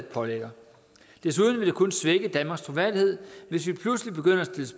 pålægger desuden vil det kun svække danmarks troværdighed pludselig